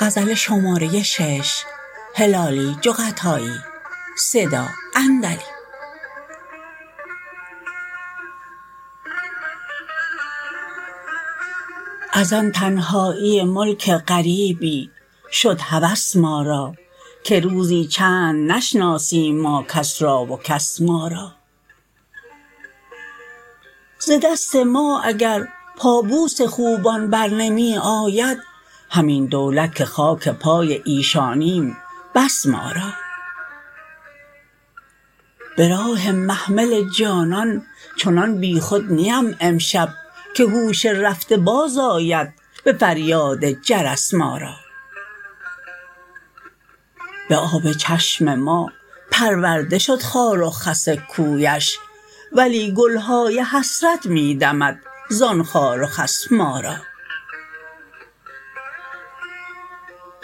از آن تنهایی ملک غریبی شد هوس ما را که روزی چند نشناسیم ما کس را و کس ما را ز دست ما اگر پا بوس خوبان بر نمی آید همین دولت که خاک پای ایشانیم بس مارا براه محمل جانان چنان بیخود نیم امشب که هوش رفته باز آید بفریاد جرس ما را بآب چشم ما پرورده شد خار و خس کویش ولی گلهای حسرت میدمد زان خار و خس ما را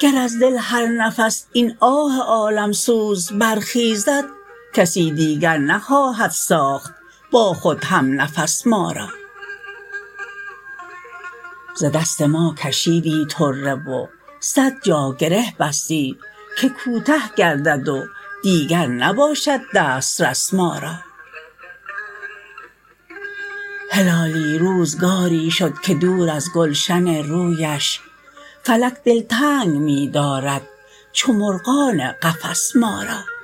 گر از دل هر نفس این آه عالم سوز برخیزد کسی دیگر نخواهد ساخت با خود همنفس ما را ز دست ما کشیدی طره و صد جا گره بستی که کوته گردد و دیگر نباشد دسترس ما را هلالی روزگاری شد که دور از گلشن رویش فلک دل تنگ میدارد چو مرغان قفس ما را